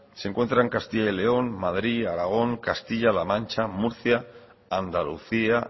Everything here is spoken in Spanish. se encuentran castilla y león madrid aragón castilla la mancha murcia andalucía